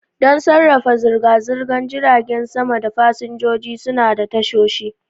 Don sarrafa zirga-zirgar jiragen sama da fasinjoji, suna da tashoshi.